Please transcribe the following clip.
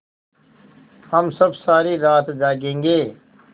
हम सब सारी रात जागेंगे